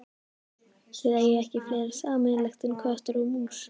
Þið eigið ekki fleira sameiginlegt en köttur og mús.